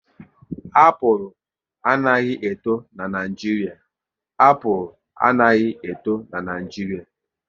Apụl anaghị eto n'Naijiria